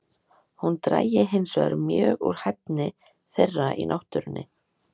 Hún drægi hinsvegar mjög úr hæfni þeirra í náttúrunni.